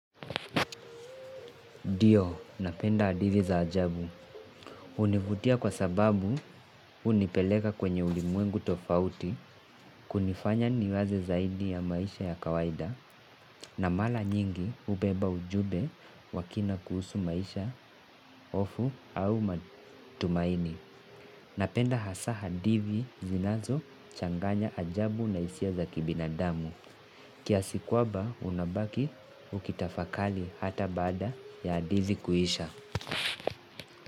Ndio, napenda hadithi za ajabu. Hunivutia kwa sababu unipeleka kwenye ulimwengu tofauti kunifanya niwaze zaidi ya maisha ya kawaida na mara nyingi hubeba ujumbe wa kina kuhusu maisha hofu au matumaini. Napenda hasa hadithi zinazo changanya ajabu na hisia za kibinadamu. Kiasi kwamba unabaki ukitafakali hata bada ya hadithi kuisha.